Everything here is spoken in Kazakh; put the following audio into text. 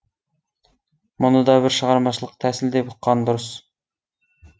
мұны да бір шығармашылық тәсіл деп ұққан дұрыс